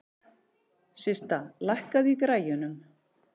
Systa, lækkaðu í græjunum.